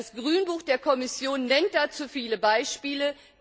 Das Grünbuch der Kommission nennt dazu viele Beispiele.